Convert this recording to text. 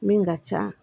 Min ka ca